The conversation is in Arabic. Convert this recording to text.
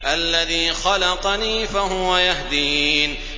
الَّذِي خَلَقَنِي فَهُوَ يَهْدِينِ